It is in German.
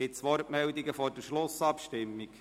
Gibt es Wortmeldungen vor der Schlussabstimmung?